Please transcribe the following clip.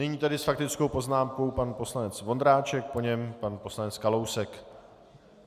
Nyní tedy s faktickou poznámkou pan poslanec Vondráček, po něm pan poslanec Kalousek.